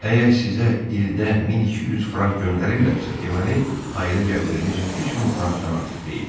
Əgər sizə ildə 1200 frank göndərirlərsə, deməli, ailə gəliriniz 3000 frankdan artıq deyil.